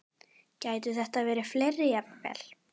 Gætu þetta verið fleiri jafnvel?